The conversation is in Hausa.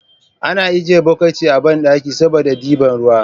Ana ajjiye bukiti a banɗaki saboda ɗiban ruwa